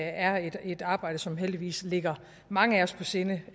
er et arbejde som heldigvis ligger mange af os på sinde